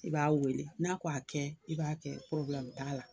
I b'a wele n'a ko a kɛ, i b'a kɛ t'a la.